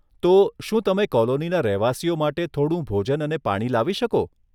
તો, શું તમે કોલોનીના રહેવાસીઓ માટે થોડું ભોજન અને પાણી લાવી શકો?